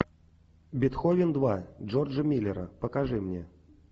бетховен два джорджа миллера покажи мне